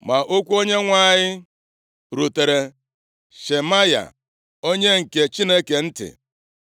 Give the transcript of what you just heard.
Ma okwu Onyenwe anyị rutere Shemaya, onye nke Chineke ntị: